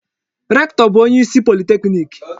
Rektọ bụ onyeisi politeknik.